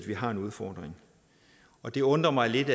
vi har en udfordring og det undrer mig lidt